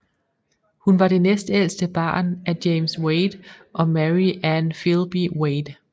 Hun var det næstældste barn af James Wade og Mary Ann Filby Wade